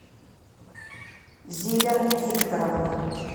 зиля викторовна